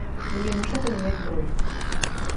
мне нужно поменять бронь